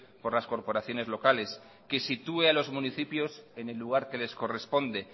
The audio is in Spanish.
por las corporaciones locales que sitúe a los municipios en el lugar que les corresponde